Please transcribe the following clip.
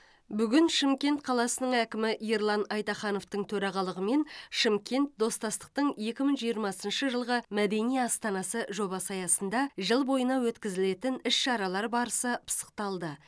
бүгін шымкент қаласының әкімі ерлан айтахановтың төрағалығымен шымкент достастықтың екі мың жиырмасыншы жылғы мәдени астанасы жобасы аясында жыл бойына өткізілетін іс шаралар барысы пысықталды